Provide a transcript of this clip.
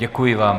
Děkuji vám.